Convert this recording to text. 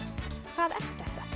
hvað er þetta